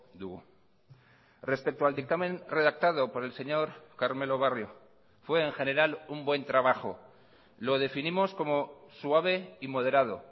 dugu respecto al dictamen redactado por el señor carmelo barrio fue en general un buen trabajo lo definimos como suave y moderado